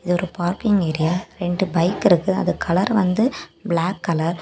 இது ஒரு parking area ரெண்டு பைக் இருக்கு அது கலர் வந்த பிளாக் கலர் .